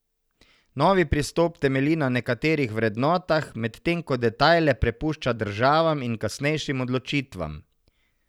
Novi pristop temelji na nekaterih vrednotah, medtem ko detajle prepušča državam in kasnejšim odločitvam.